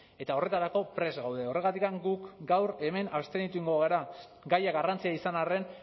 eta horretarako prest gaude horregatik gu gaur hemen abstenitu egingo gara gaiak garrantzia izan arren